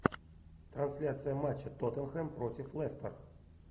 трансляция матча тоттенхэм против лестер